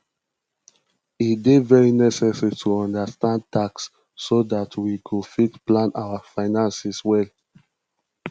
e dey very necessary to understand tax so dat we go fit plan our finances well